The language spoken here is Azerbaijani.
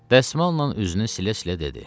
Dəsmalnan üzünü silə-silə dedi: